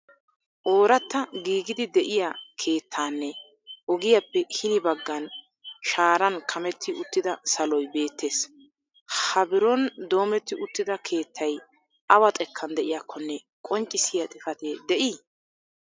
ooratta giigidi de'iyaa keettanne ogiyappe hini baggan shaaran kametti uttida saloy beettees. ha biro ndoommetti uttida keettay awa xekkan de'iyaakkonne qonccissiya xifatee de'ii?